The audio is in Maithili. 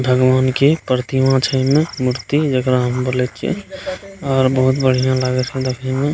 भगवान के प्रतिमा छै एमे मूर्ति जेकरा हम बोले छीये और बहुत बढ़िया लगय छै देखे में।